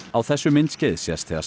á þessu myndskeiði sést þegar